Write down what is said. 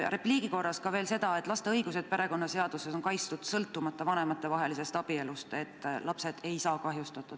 Repliigi korras ütlen veel seda, et laste õigused perekonnaseaduses on kaitstud, sõltumata sellest, kas vanemad on abielus, ei saa lapsed kahjustatud.